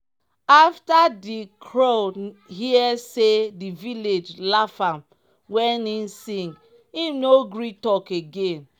afta di crow hear say di village laff am wen im sing im no gree talk again